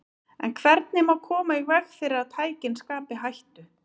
En hvernig má koma í veg fyrir að tækin skapi hættu?